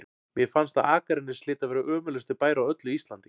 Mér fannst að Akranes hlyti að vera ömurlegasti bær á öllu Íslandi.